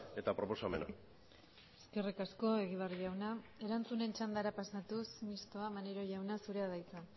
eta proposamena eskerrik asko egibar jauna erantzunen txandara pasatuz mistoa maneiro jauna zurea da hitza